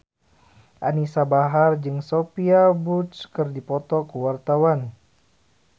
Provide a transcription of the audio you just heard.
Anisa Bahar jeung Sophia Bush keur dipoto ku wartawan